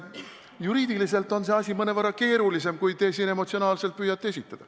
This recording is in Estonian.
Juriidiliselt on see asi mõnevõrra keerulisem, kui te siin emotsionaalselt püüate esitada.